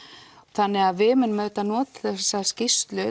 þannig við munum auðvitað nota þessa skýrslu